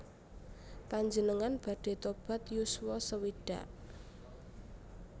Panjenengan badhe tobat yuswa sewidak